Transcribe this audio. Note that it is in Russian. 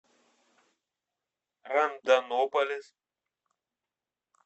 рондонополис